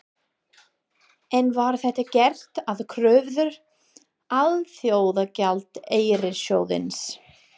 En var þetta gert að kröfu Alþjóðagjaldeyrissjóðsins?